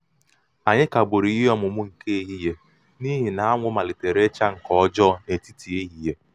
anyị kagburu ihe ọmụmụ nke ehihie n'ihi malitere icha nke ọjọọ n'etiti ehihie.